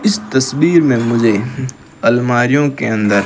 इस तस्वीर में मुझे लमरियों के अंदर--